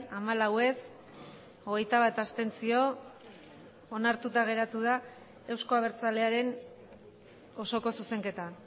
hamalau ez hogeita bat abstentzio onartuta geratu da euzko abertzalearen osoko zuzenketa